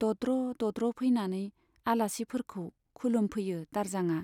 दद्र दद्र फैनानै आलासिफोरखौ खुलुमफैयो दारजांआ।